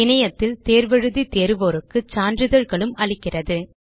இணையத்தில் தேர்வு எழுதி தேர்வோருக்கு சான்றிதழ்களும் அளிக்கிறது